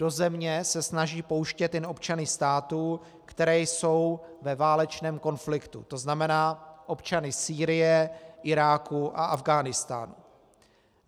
Do země se snaží pouštět jen občany států, které jsou ve válečném konfliktu, to znamená občany Sýrie, Iráku a Afghánistánu.